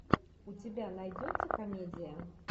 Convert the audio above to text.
у тебя найдется комедия